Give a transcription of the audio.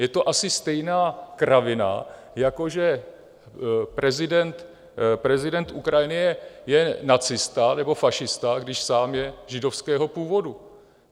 Je to asi stejná kravina, jako že prezident Ukrajiny je nacista nebo fašista, když sám je židovského původu.